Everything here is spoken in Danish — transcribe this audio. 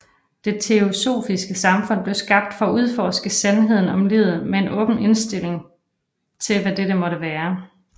Det Teosofiske Samfund blev skabt for at udforske sandheden om livet med en åben indtilling til hvad dette måtte være